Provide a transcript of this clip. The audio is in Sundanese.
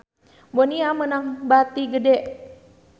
Bonia meunang bati gede